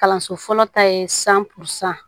Kalanso fɔlɔ ta ye san pansɔn